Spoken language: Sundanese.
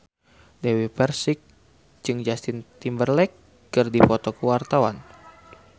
Dewi Persik jeung Justin Timberlake keur dipoto ku wartawan